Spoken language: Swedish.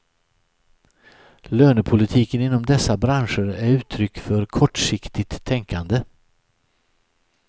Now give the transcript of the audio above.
Lönepolitiken inom dessa branscher är uttryck för kortsiktigt tänkande.